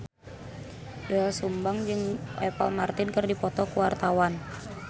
Doel Sumbang jeung Apple Martin keur dipoto ku wartawan